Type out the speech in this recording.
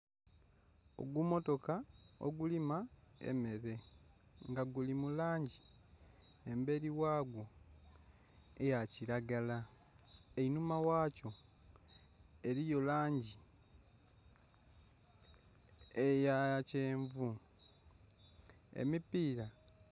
Ogu mmotoka ogulima emmere nga guli mu langi embeli ghagwo eya kilagala. Einhuma ghakyo eliyo langi eya kyenvu. Emipiira...